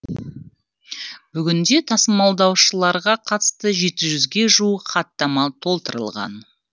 бүгінде тасымалдаушыларға қатысты жеті жүзге жуық хаттама толтырылған